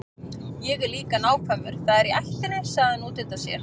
Ég er líka nákvæmur, það er í ættinni, sagði hann útundann sér.